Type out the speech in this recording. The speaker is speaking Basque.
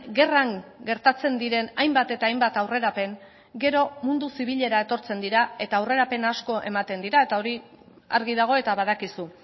gerran gertatzen diren hainbat eta hainbat aurrerapen gero mundu zibilera etortzen dira eta aurrerapen asko ematen dira eta hori argi dago eta badakizu